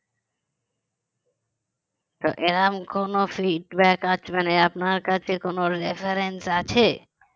তো এরকম কোন feedback আছে মানে আপনার কাছে reference আছে